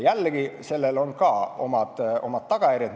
Jällegi, ka sellel on oma tagajärjed.